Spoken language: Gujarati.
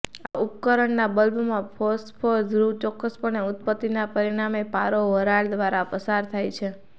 આવા ઉપકરણના બલ્બમાં ફોસ્ફોર ધ્રુવ ચોક્કસપણે ઉત્પત્તિના પરિણામે પારો વરાળ દ્વારા પસાર થાય છે